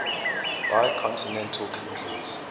bicontinental countries